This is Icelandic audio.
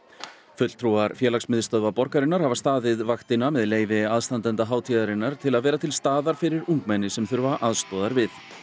fulltrúar félagsmiðstöðva borgarinnar hafa staðið vaktina með leyfi aðstandenda hátíðarinnar til að vera til staðar fyrir ungmenni sem þurfa aðstoð við